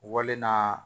Wale na